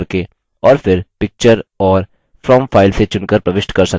और फिर picture और from file से चुनकर प्रविष्ट कर सकते हैं